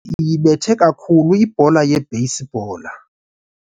iyibethe kakhulu ibhola yebheyisibhola.